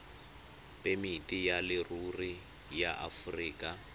phemiti ya leruri ya aforika